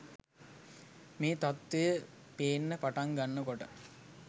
මේ තත්වය පේන්න පටන් ගන්න කොට